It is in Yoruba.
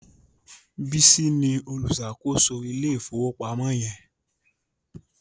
Bisi ní oluṣakoso Ilé ìfowópamọ́ yen.